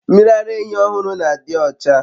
Mmiri ara ehi ohuru na adiocha